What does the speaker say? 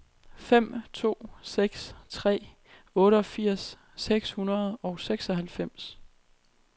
fem to seks tre otteogfirs seks hundrede og seksoghalvfems